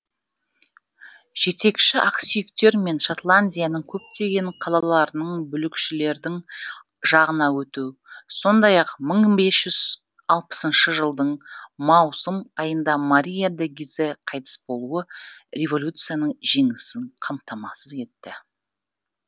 жетекші ақсүйектер мен шотландияның көптеген қалаларының бүлікшілердің жағына өту сондай ақ мың бес жүз алпысыншы жылдың маусым айында мария де гизе қайтыс болуы революцияның жеңісін қамтамасыз етті